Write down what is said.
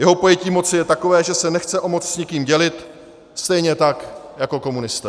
Jeho pojetí moci je takové, že se nechce o moc s nikým dělit, stejně tak jako komunisté.